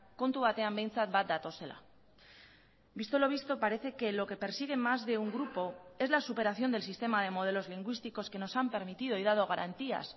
kontu batean behintzat bat datozela visto lo visto parece que lo que persigue más de un grupo es la superación del sistema de modelos lingüísticos que nos han permitido y dado garantías